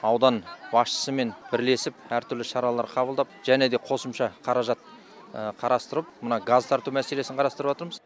аудан басшысымен бірлесіп әртүрлі шаралар қабылдап және де қосымша қаражат қарастырып мына газ тарту мәселесін қарастырыватырмыз